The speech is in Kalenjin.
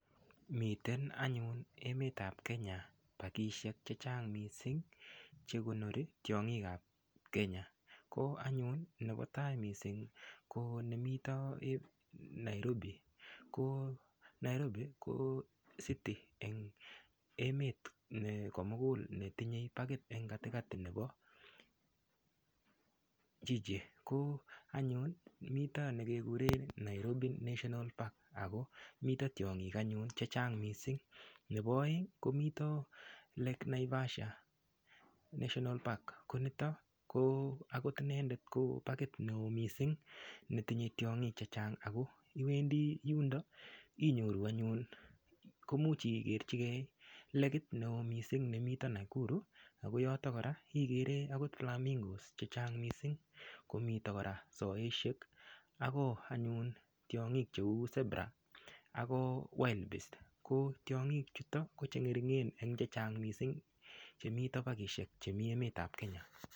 Miten anyun emet ap Kenya pakishek chechang mising chekonori tiong'ik ap Kenya ko anyun nepo tai mising ko nemito Nairobi ko Nairobi ko city eng emet komukul netinyei pakit eng katikati nepo jiji ko anyun mito nekekure Nairobi national park ako mito tiong'ik anyun chechang mising nepo oeng komito lake Naivasha national park konito ko akot inendet ko pakit neo mising netinyei tiong'ik chechang ako iwendi yundo inyoru anyun komuch igerchigei lekit neo mising nemito Nakuru ako yoto kora ikere akot flamingo's chechang mising komito kora sopeshek ako anyun tiong'ik cheu zebra ako wildbeast ko tiong'ik chuton ko chengeringen eng chechang mising chemito pakishek chemi emet ap Kenya.